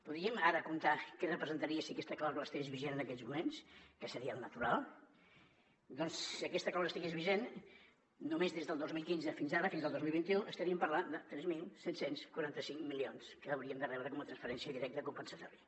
podríem ara comptar què representaria si aquesta clàusula estigués vigent en aquests moments que seria el natural doncs si aquesta clàusula estigués vigent només des del dos mil quinze fins ara fins al dos mil vint u estaríem parlant de tres mil set cents i quaranta cinc milions que hauríem de rebre com a transferència directa compensatòria